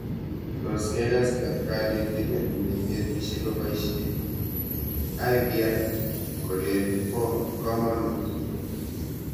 Tos kekas kanetindet neinetishe kopishe IVR kolen po kamanut?